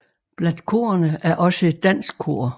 Blandt korene er også et dansk kor